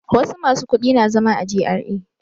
Wasu masu kudi na zama a GRA.